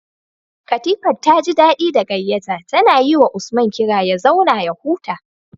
Katifar taji daɗi da gayyata, tana yiwa Usman kira ya zauna ya huta.